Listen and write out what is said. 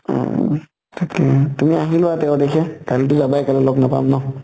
উম থাকিম। তুমি আহিবা তেৰ তাৰিখে, কালিটো যাবাই, কাইলে লগ নাপাম ন।